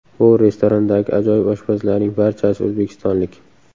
Bu restorandagi ajoyib oshpazlarning barchasi o‘zbekistonlik”.